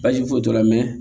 Baasi foyi t'o la mɛ